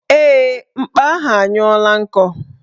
Ee, mkpa ahụ anyụla nkọ